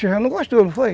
Você já não gostou, não foi?